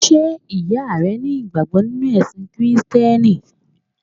Sé ìyá rẹ ní ìgbàgbọ́ nínú ẹ̀sìn Kìrìsìtíẹ́nì?